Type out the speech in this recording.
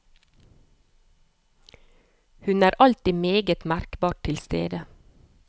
Hun er alltid meget merkbart til stede.